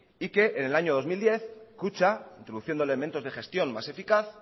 y que en el año dos mil diez kutxa introduciendo elementos de gestión más eficaz